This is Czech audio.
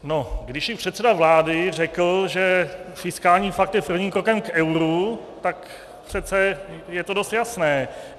No, když i předseda vlády řekl, že fiskální pakt je prvním krokem k euru, tak přece je to dost jasné.